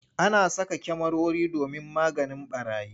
Ana saka kyamarori domin maganin ɓarayi.